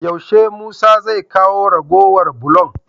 Yaushe musa zai kawo ragowar bulon?